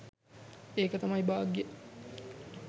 ඒක තමයි භාග්‍යය.